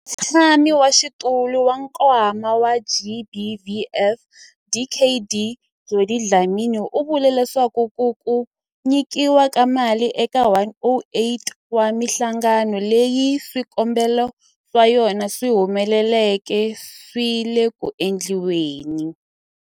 Mutshamaxitulu wa Nkwama wa GBVF, Dkd Judy Dlamini, u vule leswaku ku nyikiwa ka mali eka 108 wa mihlangano leyi swikombelo swa yona swi humeleleke swi le ku endliweni.